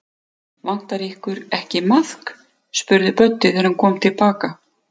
Vantar ykkur ekki maðk? spurði Böddi, þegar hann kom til baka.